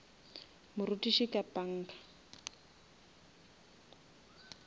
morutiši ka panga